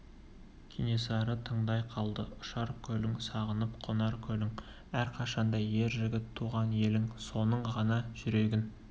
кенесары тыңдай қалды ұшар көлің сағынып қонар көлің әрқашанда ер жігіт туған елің соның ғана жүрегін